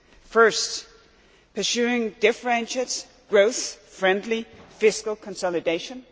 First, pursuing differentiated, growth friendly fiscal consolidation.